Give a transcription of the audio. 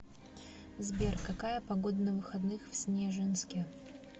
сбер какая погода на выходных в снежинске